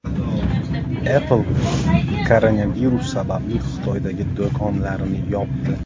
Apple koronavirus sababli Xitoydagi do‘konlarini yopdi.